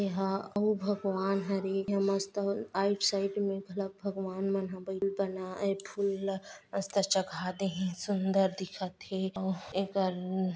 इहँ उ भगवान ह रे इह मस्त आईट-साईट मे भला भागवान मन ह बनाए फुल ला मस्त चघात हें सुंदर दिखत हे अउ एकर--